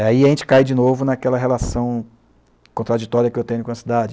Aí a gente cai de novo naquela relação contraditória que eu tenho com a cidade.